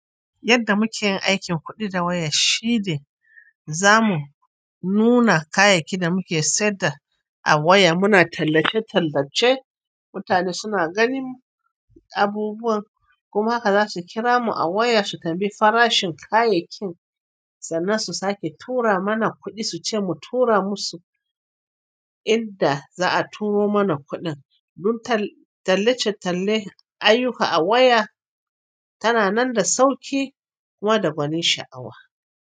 Yadda mukeyin aikin kuɗi da waya shi ne zamu nuna kayayyakin da muke sayar da a waya. Muna tallace-tallace, mutane suna ganin abubuwan, kuma haka zasu kira mu a waya su tambayi farashin kayayyakin sannan su sake tura mana kuɗi, su ce mu tura musu. Idan za'a turo mana kuɗin, dun tallace-talle ayyuka a waya tana nan da sauƙi kuma da gwanin sha'awa.